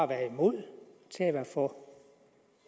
at være imod til at være for